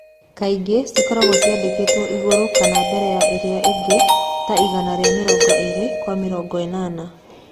Kaingĩ cikoragwo ciandĩkĩtwe igurũ kana mbere ya iria ingĩ ta igana rĩa mĩrongo ĩrĩ kwa mĩrongo ĩnana.